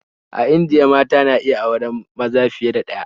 A Indiya mata na iya auren maza fiye da ɗaya